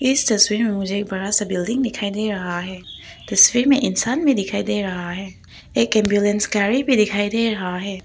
इस तस्वीर में मुझे एक बड़ा सा बिल्डिंग दिखाई दे रहा है तस्वीर में इंसान भी दिखाई दे रहा है एक एंबुलेंस गाड़ी भी दिखाई दे रहा है।